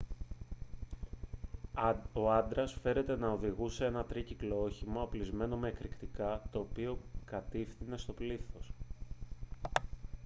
ο άντρας φέρεται να οδηγούσε ένα τρίκυκλο όχημα οπλισμένο με εκρηκτικά το οποίο κατηύθυνε στο πλήθος